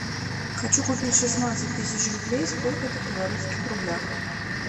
хочу купить шестнадцать тысяч рублей сколько это в белорусских рублях